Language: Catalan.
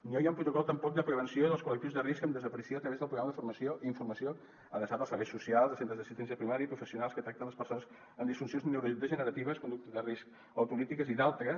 no hi ha un protocol tampoc de prevenció dels col·lectius de risc de desaparició a través del programa de formació i informació adreçat als serveis socials a centres d’assistència primària i professionals que tracten les persones amb disfuncions neurodegeneratives conductes de risc autolítiques i d’altres